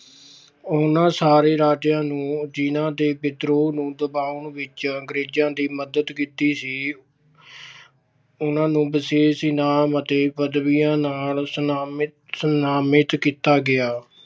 ਉਹਨਾਂ ਸਾਰੇ ਰਾਜਿਆਂ ਨੂੰ ਜਿਹਨਾਂ ਦੇ ਵਿਦਰੋਹ ਨੂੰ ਦਬਾਉਣ ਦੇ ਵਿੱਚ ਅੰਗਰੇਜਾਂ ਦੀ ਮਦਦ ਕੀਤੀ ਸੀ। ਉਹਨਾਂ ਨੂੰ ਵਿਸ਼ੇਸ਼ ਇਨਾਮ ਅਤੇ ਪੱਦਵੀਆਂ ਨਾਲ ਸਨਮਾਨਿਤ ਕੀਤਾ ਗਿਆ।